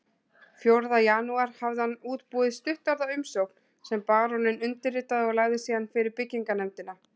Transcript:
Fjórða janúar hafði hann útbúið stuttorða umsókn sem baróninn undirritaði og lagði síðan fyrir byggingarnefndina